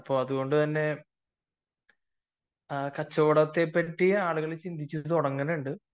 അപ്പൊ കച്ചവടത്തെപ്പറ്റി ആളുകൾ ചിന്തിച്ചു തുടങ്ങിയിട്ടുണ്ട്